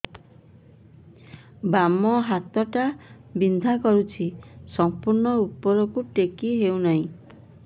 ବାମ ହାତ ଟା ବିନ୍ଧା କରୁଛି ସମ୍ପୂର୍ଣ ଉପରକୁ ଟେକି ହୋଉନାହିଁ